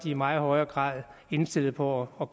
i meget højere grad indstillet på at